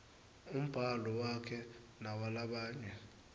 umbhalo wakhe newalabanye